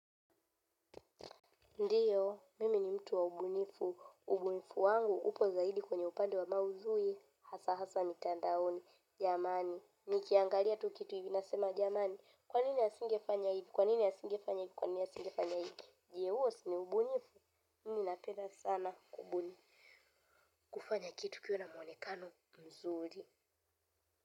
Ndiyo, mimi ni mtu wa ubunifu. Ubunifu wangu upo zaidi kwenye upande wa maudhui, hasa hasa mitandaoni, jamani. Nikiangalia tu kitu nasema jamani, kwa nini asingefanya hivi, kwa nini asingefanya hivi, kwa nini asingefanya hivi, je, huo si ubunifu? Mimi napenda sana kubuni. Kufanya kitu kiwe na mwonekano mzuri.